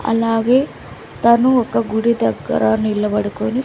అలాగే తను ఒక గుడి దగ్గర నిలబడుకొని --